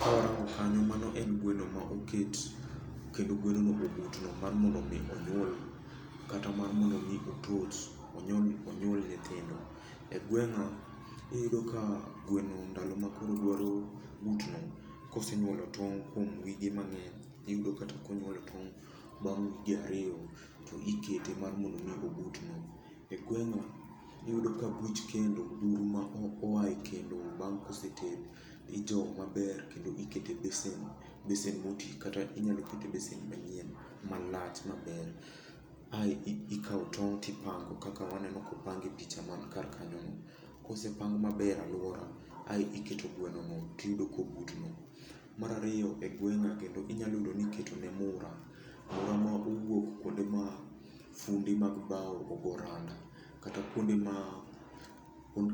Ka warango kanyo, mano en gweno ma oket, kendo gweno obutno mar mondo mi onyuol. Kata mar mondo mi otoch, onyuol nyithindo. E gweng'a, iyudo ka gweno ndalo ma koro dwaro butno, kosenyuolo tong' kuom wige mang'eny, iyudo kata konyuolo tong' bang' wige ariyo, to ikete mar mondo mi obutno. E gweng'a iyudo ka buch kendo, buru ma oae kendo bang' koseted, ijowo maber, kendo iketo e besen, besen motii kata inyalo ket e besen manyien, malach maber. Ae ikao tong' tipango kaka waneno kopang e picha man kar kanyo no. Kosepang maber alwora, ae iketo gweno no tiyudo kobutno. Mar ariyo e gweng'a, kendo inyalo yudo niketo ne mura. Mura ma owuok kuonde ma funde mag bao ogo randa kata kuonde ma,